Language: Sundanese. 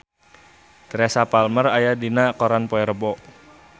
Teresa Palmer aya dina koran poe Rebo